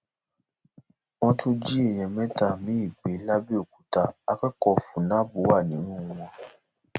wọn tún jí èèyàn mẹta miín gbé làbẹòkúta akẹkọọ fun nab wà nínú wọn